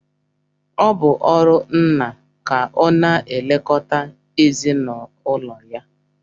Ọ bụ ọrụ nna ka ọ na-elekọta ezinụlọ ya